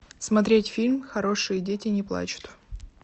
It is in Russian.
смотреть фильм хорошие дети не плачут